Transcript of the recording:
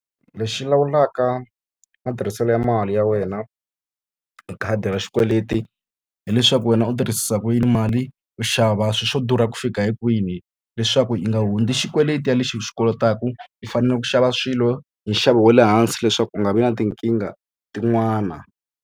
Lexi lawulaka matirhiselo ya mali ya wena hi khadi ra xikweleti hileswaku wena u tirhisisa ku yini mali, u xava swilo swo durha ku fika hi kwini. Leswaku u nga hundzi xikweleti xa lexi u xi kolotaka, u fanele ku xava swilo hi nxavo wa le hansi leswaku u nga vi na tinkingha tin'wana.